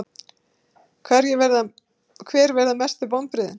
Hver verða mestu vonbrigðin?